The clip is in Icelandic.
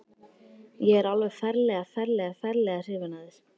Ég er alveg ferlega, ferlega, ferlega hrifinn af þér.